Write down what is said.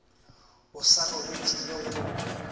o sa robetše le go